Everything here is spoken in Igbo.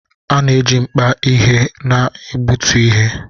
A na-eji mkpa ihe na-egbutu ihe